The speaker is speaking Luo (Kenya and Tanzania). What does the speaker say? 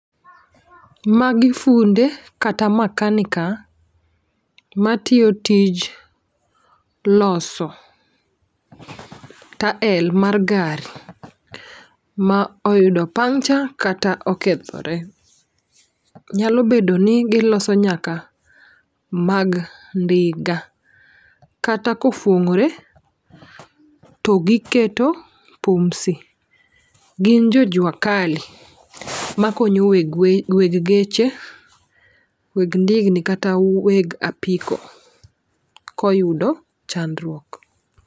Magi funde kata makanika matiyo tij loso tael mar gari ma oyudo pucnture kata okethore. Nyalo bedo ni giloso nyaka mag ndiga kata kofuong'ore to giketo pumsi. Gin jo jua kali ma konyo weg we, weg geche, weg ndigni kata weg apiko koyudo chandruok.